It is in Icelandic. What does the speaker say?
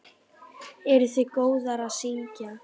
Eruð þið góðar að syngja?